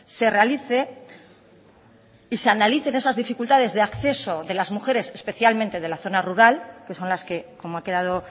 se realice y se analicen esas dificultades de acceso de las mujeres especialmente de la zona rural que son las que como ha quedado